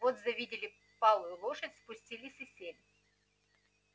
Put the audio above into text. вот завидели палую лошадь спустились и сели